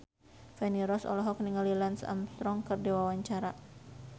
Feni Rose olohok ningali Lance Armstrong keur diwawancara